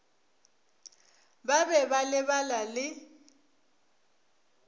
ba be ba lebala le